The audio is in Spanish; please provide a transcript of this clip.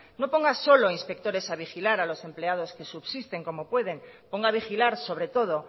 no pongas solo inspectores a vigilar a los empleados que subsisten como pueden ponga a vigilar sobre todo